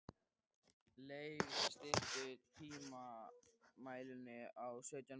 Leif, stilltu tímamælinn á sautján mínútur.